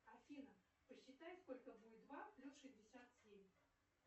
афина посчитай сколько будет два плюс шестьдесят семь